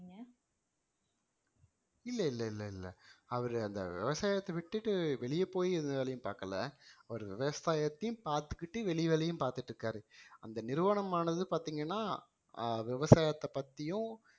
இல்ல இல்ல இல்ல அவரு அந்த விவசாயத்த விட்டுட்டு வெளிய போய் எந்த வேலையும் பாக்கல ஒரு விவசாயத்தையும் பாத்துகிட்டு வெளி வேலையும் பாத்துட்டு இருக்காரு அந்த நிறுவனமானது பாத்தீங்கன்னா